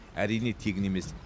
әрине тегін емес